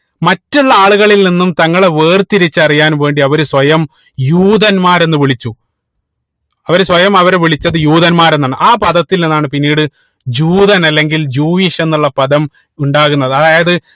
മറ്റുള്ള ആളുകളിൽ നിന്നും തങ്ങളെ വേർതിരിച്ച് അറിയാൻ വേണ്ടി അവര് സ്വയം യൂതന്മാർ എന്ന് വിളിച്ചു അവര് സ്വയം അവരെ വിളിച്ചത് യൂതന്മാർ എന്നാണ് ആഹ് പദത്തിൽ നിന്നാണ് പിന്നീട് ജൂതൻ അല്ലെങ്കിൽ Judaism എന്നുള്ള പദം ഉണ്ടാവുന്നത് അതായത്